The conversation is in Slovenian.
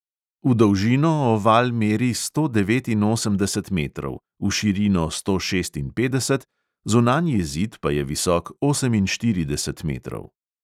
V dolžino oval meri sto devetinosemdeset metrov, v širino sto šestinpetdeset, zunanji zid pa je visok oseminštirideset metrov.